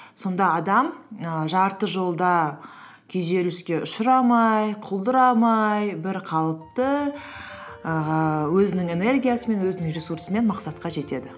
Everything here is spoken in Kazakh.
сонда адам і жарты жолда күйзеліске ұшырамай құлдырамай бірқалыпты ііі өзінің энергиясымен өзінің ресурсымен мақсатқа жетеді